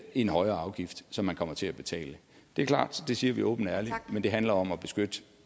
en højere afgift som man kommer til at betale det er klart det siger vi åbent og ærligt men det handler om at beskytte